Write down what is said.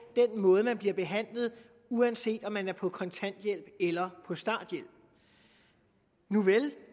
den måde man bliver behandlet på uanset om man er på kontanthjælp eller på starthjælp nuvel